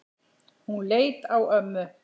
Hún leit á ömmu.